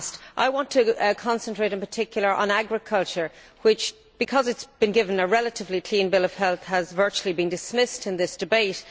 I want to concentrate in particular on agriculture which, because it has been given a relatively clean bill of health, has virtually been dismissed in this debate.